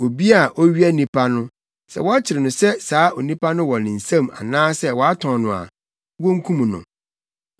“Obi a owia onipa no, sɛ wɔkyere no sɛ saa onipa no wɔ ne nsam anaasɛ watɔn no a, wonkum no.